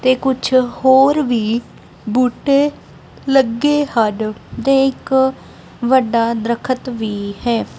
ਤੇ ਕੁਝ ਹੋਰ ਵੀ ਬੂਟੇ ਲੱਗੇ ਹਨ ਤੇ ਇੱਕ ਵੱਡਾ ਦਰਖਤ ਵੀ ਹੈ।